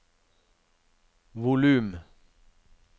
volum